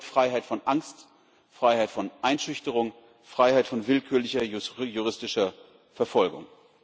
Das bedeutet Freiheit von Angst, Freiheit von Einschüchterung, Freiheit von willkürlicher juristischer Verfolgung.